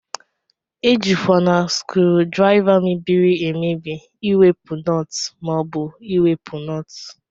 Ejikwana skrudriva mebiri emebi iwepu nọt ma obu iwepu nọt.